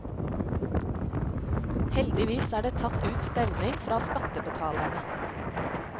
Heldigvis er det tatt ut stevning fra skattebetalerne.